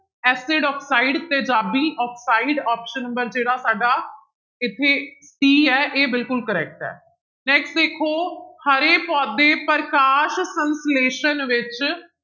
Acid oxide ਤੇਜਾਬੀ oxide option number ਜਿਹੜਾ ਸਾਡਾ ਇੱਥੇ d ਹੈ ਇਹ ਬਿਲਕੁਲ correct ਹੈ next ਦੇਖੋ ਹਰੇ ਪੌਦੇ ਪ੍ਰਕਾਸ਼ ਸੰਸਲੇਸ਼ਣ ਵਿੱਚ